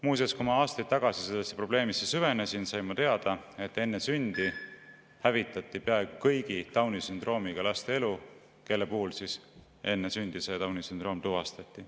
Muuseas, kui ma aastaid tagasi sellesse probleemi süvenesin, sain ma teada, et enne sündi hävitati peaaegu kõigi Downi sündroomiga laste elu, kellel enne sündi see sündroom oli tuvastatud.